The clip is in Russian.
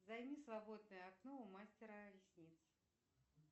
займи свободное окно у мастера ресниц